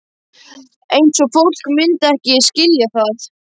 Eins og fólk myndi ekki skilja það?